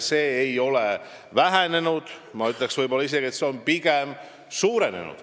See ei ole vähenenud ja ma ütleks, et see on isegi suurenenud.